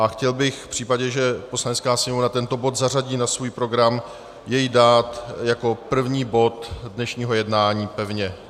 A chtěl bych v případě, že Poslanecká sněmovna tento bod zařadí na svůj program, jej dát jako první bod dnešního jednání pevně.